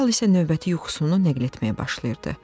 Dərhal isə növbəti yuxusunu nəql etməyə başlayırdı.